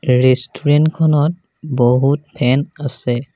Restaurant খনত বহুত fan আছে।